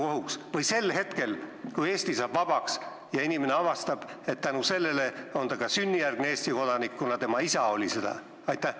Või juhtub see sel hetkel, kui Eesti saab vabaks ja inimene avastab, et ta on ka sünnijärgne Eesti kodanik, kuna tema isa oli seda?